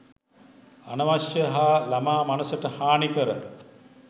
අනවශ්‍ය‍ හා ළමා මනසට හානිකර